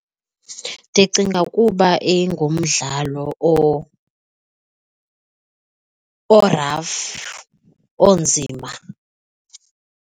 Ndicinga kuba ingumdlalo o-rough, onzima.